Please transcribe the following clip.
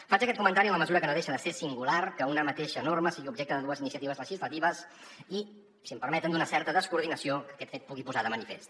faig aquest comentari en la mesura que no deixa de ser singular que una mateixa norma sigui objecte de dues iniciatives legislatives i si m’ho permeten d’una certa descoordinació que aquest fet pugui posar de manifest